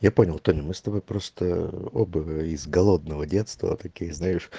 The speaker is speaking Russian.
я понял тоня мы с тобой просто оба из голодного детства таких знаешь